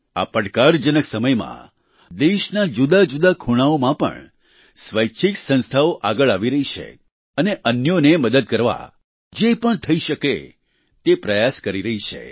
આ પડકારજનક સમયમાં દેશના જુદા જુદા ખૂણાઓમાં પણ સ્વૈચ્છિક સંસ્થાઓ આગળ આવી રહી છે અને અન્યોને મદદ કરવા જે પણ થઇ શકે તે પ્રયાસ કરી રહી છે